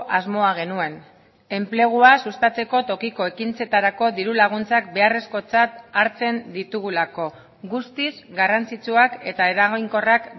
asmoa genuen enplegua sustatzeko tokiko ekintzetarako diru laguntzak beharrezkotzat hartzen ditugulako guztiz garrantzitsuak eta eraginkorrak